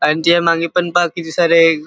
अन त्याच्या मागे पण पहा किती सारे--